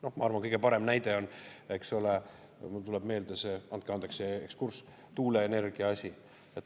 Noh, ma arvan, kõige parem näide on see, mul tuleb meelde – andke andeks see ekskurss –, tuuleenergia asi.